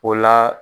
O la